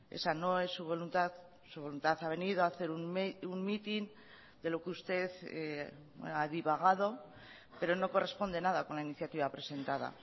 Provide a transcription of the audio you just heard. esa no es su voluntad su voluntad ha venido a hacer un mitin de lo que usted ha divagado pero no corresponde nada con la iniciativa presentada